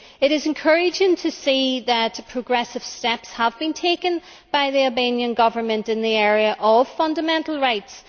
It is encouraging to see that progressive steps have been taken by the Albanian Government in the area of fundamental rights.